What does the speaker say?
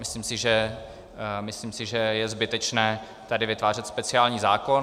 Myslím si, že je zbytečné tady vytvářet speciální zákon.